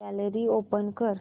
gallery open कर